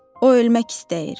O ölmək istəyir.